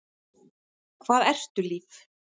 Hvað ertu líf?